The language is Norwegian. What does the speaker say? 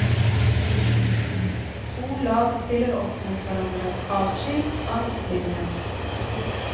To lag stiller opp mot hverandre, adskilt av midtlinjen.